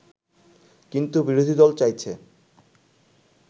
কিন্তু বিরোধীদল চাইছে